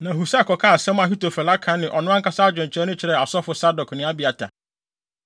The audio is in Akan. Na Husai kɔkaa asɛm a Ahitofel aka ne ɔno ankasa adwenkyerɛ no kyerɛɛ asɔfo Sadok ne Abiatar.